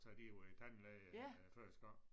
Så er de ved æ tandlæge æ første gang